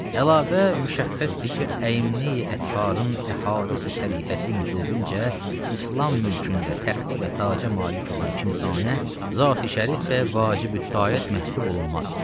Əlavə, müşəxxəsdir ki, əyimli ətharın əhdisi səlihəsi mücübüncə İslam mülkündə təxtə və taca malik olan kimsanə zati-şərif və vacibüttaat məhsul olunmaz.